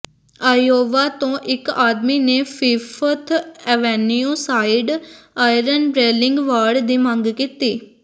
Iowa ਤੋਂ ਇਕ ਆਦਮੀ ਨੇ Fifth Avenue side iron railing ਵਾੜ ਦੀ ਮੰਗ ਕੀਤੀ